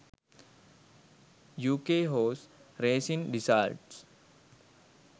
uk horse racing results